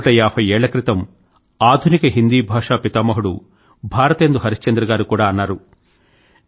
నూట ఏభై ఏళ్ల క్రితం ఆధునిక హిందీ భాషా పితామహుడు భారతేందు హరిశ్చంద్ర గారు కూడా అన్నారు